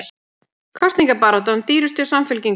Kosningabaráttan dýrust hjá Samfylkingunni